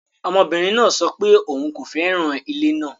Ọmọbinrin naa sọ pe oun ko fẹran ile naa